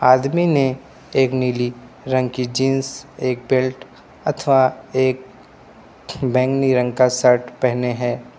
आदमी ने एक नीली रंग की जींस एक बेल्ट अथवा एक बैंगनी रंग का शर्ट पहने है।